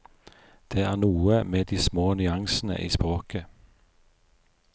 Det er noe med de små nyansene i språket.